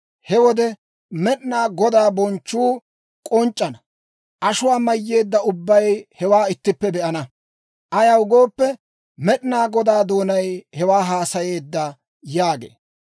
He wode, Med'inaa Godaa bonchchuu k'onc'c'ana; ashuwaa mayyeedda ubbay hewaa ittippe be'ana. Ayaw gooppe, Med'inaa Godaa doonay hewaa haasayeedda» yaagee.